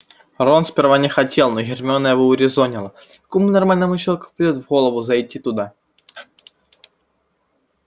рон сперва не хотел но гермиона его урезонила какому нормальному человеку придёт в голову зайти туда